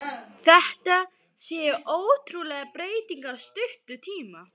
Þetta séu ótrúlegar breytingar á stuttum tíma.